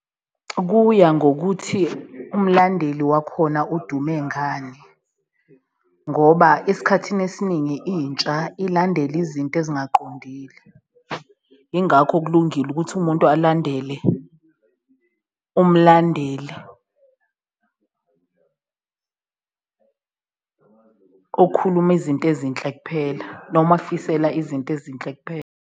Kuya ngokuthi umlandeli wakhona udume ngani ngoba esikhathini esiningi intsha ilandela izinto ezingaqondile ingakho kulungile ukuthi umuntu alandele umlandeli, okhuluma izinto ezinhle kuphela noma akufisela izinto ezinhle kuphela.